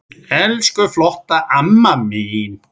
Elsku flotta amma mín.